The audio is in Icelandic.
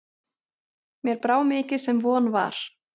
Mér brá mikið sem von var.